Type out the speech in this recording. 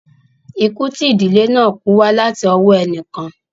Ikú tí ìdílé náà kú wá láti ọwọ́ ẹnì kan